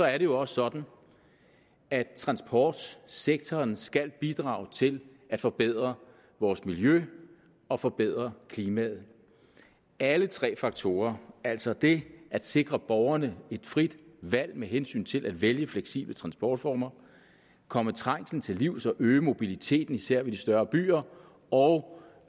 er det jo også sådan at transportsektoren skal bidrage til at forbedre vores miljø og forbedre klimaet alle tre faktorer altså det at sikre borgerne et frit valg med hensyn til at vælge fleksible transportformer komme trængslen til livs og øge mobiliteten især ved de større byer og